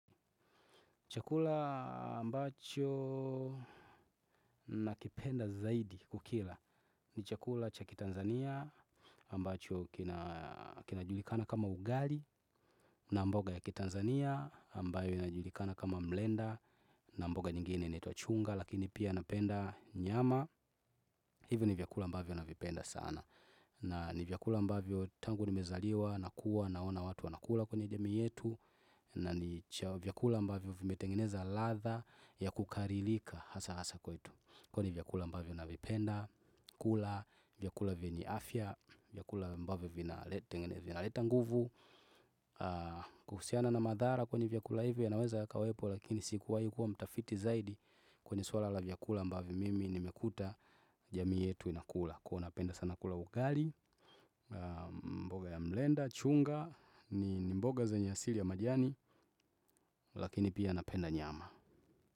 Chakula ambacho nakipenda zaidi kukila ni chakula cha ki Tanzania ambacho kinajulikana kama ugali na mboga ya ki Tanzania ambayo inajulikana kama mlenda na mboga nyingine inatwa chunga lakini pia napenda nyama. Hivyo ni vyakula ambavyo navipenda sana. Na ni vyakula ambavyo tangu nimezaliwa, nakuwa, naona watu wanakula kwenye jamii yetu. Na ni vyakula ambavyo vimetengeneza ladha ya kukarilika hasa hasa kwetu. Kwenye vyakula ambavyo na vipenda, kula, vyakula venye afya, vyakula ambavyo vinaleta nguvu. Kuhusiana na madhara kwenye vyakula hivyo yanaweza yakawepo lakini sikuwai kuwa mtafiti zaidi. Kwenye suala la vyakula ambavyo mimi nimekuta jamii yetu inakula. Kuwa napenda sana kula ugali, mboga ya mlenda, chunga, ni mboga zenye asili ya majani. Lakini pia napenda nyama.